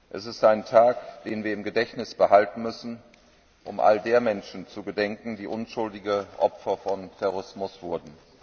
Es ist ein Tag, den wir im Gedächtnis behalten müssen, um all der Menschen zu gedenken, die unschuldig Opfer des Terrorismus wurden.